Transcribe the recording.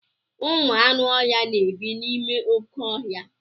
Ụmụ anụ ọhịa na-ebi n'ime oké ọhịa.